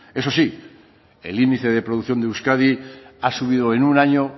eso sí el índice de producción de euskadi ha subido en un año